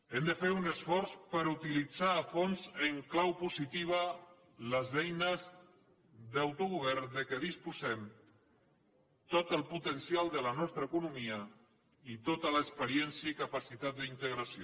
hem de fer un esforç per utilitzar a fons en clau positiva les eines d’autogovern de què disposem tot el potencial de la nostra economia i tota l’experiència i capacitat d’integració